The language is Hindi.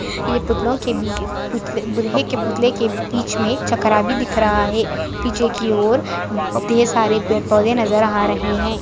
ये पुतलोंके भी-भी-बृहे के पुथलोंके बीच मे चक्रा भी दिख रहा है पीछे की और ढेर सारे पेड़-पौधे नज़र आ रहे है।